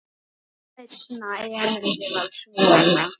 Seinna erindið var svona